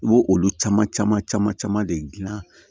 I bɛ olu caman caman caman caman de gilan